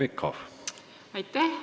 Aitäh!